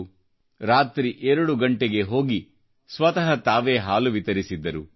ಪ್ರತಿಯೊಬ್ಬರ ಕೋಣೆಗೆ ರಾತ್ರಿ 2 ಗಂಟೆಗೆ ಹೋಗಿ ಸ್ವತಃ ಹಾಲು ವಿತರಿಸಿದ್ರು